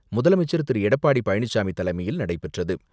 முதலமைச்சர் திரு.எடப்பாடி பழனிச்சாமி தலைமையில் நடைபெற்றது.